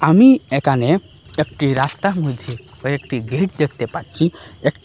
আমি একানে একটি রাস্তা বুঝি ও একটি গেট দেখতে পাচ্ছি একটি --